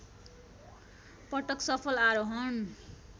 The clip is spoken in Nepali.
पटक सफल आरोहण